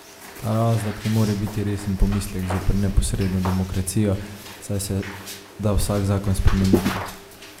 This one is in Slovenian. Ta razlog ne more biti resen pomislek zoper neposredno demokracijo, saj se da vsak zakon spremeniti.